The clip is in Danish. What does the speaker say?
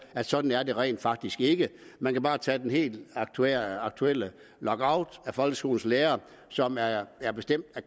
at sådan er det rent faktisk ikke man kan bare tage den helt aktuelle aktuelle lockout af folkeskolens lærere som er er bestemt af